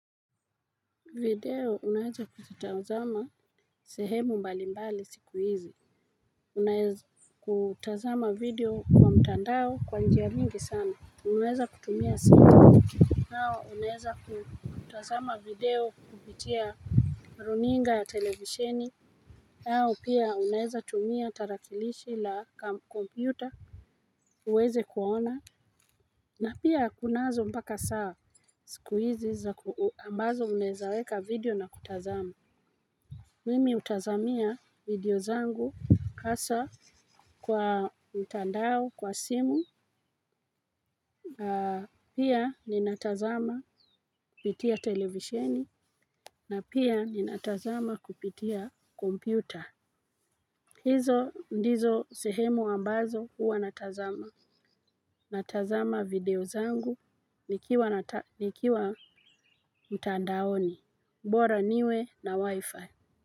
Video unaheza kututazama sehemu mbali mbali siku hizi, unaheza kutazama video kwa mtandao kwa njia mingi sana, unaheza kutumia siku. Nao unaheza kutazama video kubitia runinga ya televisheni, au pia unaweza tumia tarakilishi la kompyuta uweze kuona, na pia kunazo mpaka saa siku hizi za ambazo unaweza weka video na kutazama. Mimi hutazamia video zangu hasa kwa mtandao kwa simu, pia ninatazama kupitia televisheni na pia ninatazama kupitia kompyuta. Hizo ndizo sehemu ambazo huwa natazama natazama video zangu nikiwa mtandaoni bora niwe na wifi.